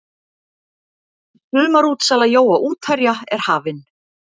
Sumarútsala jóa útherja er hafin.